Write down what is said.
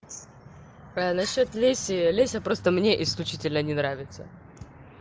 а на счёт леси леся просто мне исключительно не нравится